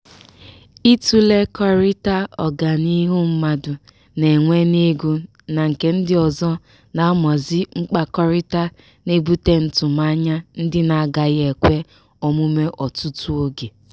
ịtụlekọrịta ọganiihu mmadụ na-enwe n'ego na nke ndị ọzọ n'amaozi mkpakọrịta na-ebute ntụmanya ndị na-agaghị ekwe omume ọtụtụ oge.